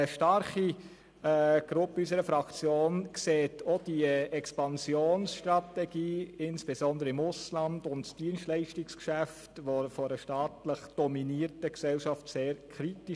Doch eine starke Gruppe in unserer Fraktion betrachtet auch die Expansionsstrategie, insbesondere im Ausland, und das Dienstleistungsgeschäft einer staatlich dominierten Gesellschaft sehr kritisch.